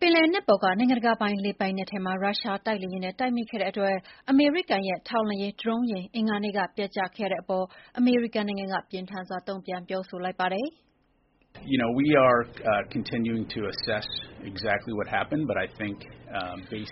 ပင်လယ်နက်ပေါ်က နိုင်ငံတကာပိုင်လေပိုင်နက်ထဲမှာ ရုရှားတိုက်လေယာဉ်နဲ့ တိုက်မိခဲ့တဲ့အတွက် အမေရိကန်ရဲ့ထောက်လှမ်းရေးဒရုန်းယာဉ် အင်္ဂါနေ့က ပျက်ကျခဲ့ရတဲ့အပေါ် အမေရိကန်က ပြင်းထန်စွာတုံ့ပြန်ပြောဆိုလိုက်ပါတယ်။ “